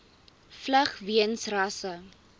vlug weens rasse